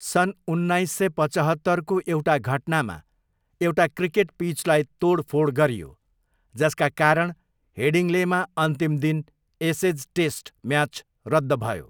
सन् उन्नाइस सय पचहत्तरको एउटा घटनामा एउटा क्रिकेट पिचलाई तोडफोड गरियो, जसका कारण हेडिङ्लेमा अन्तिम दिन एसेज टेस्ट म्याच रद्द भयो।